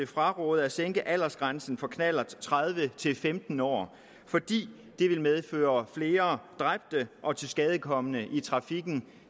fraråde at sænke aldersgrænsen for knallert tredive til femten år fordi det vil medføre flere dræbte og tilskadekomne i trafikken